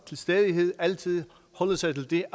til stadighed holde sig til de